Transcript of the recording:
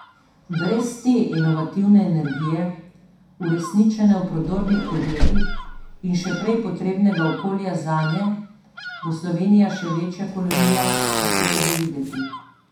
Brez te inovativne energije, uresničene v prodornih podjetjih in še prej potrebnega okolja zanje, bo Slovenija še večja kolonija, kakor je že videti.